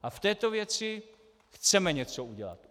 A v této věci chceme něco udělat.